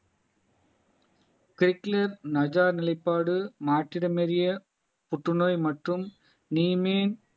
நிலைப்பாடு மாற்றிடம் அறிய புற்றுநோய் மற்றும் நீமேன்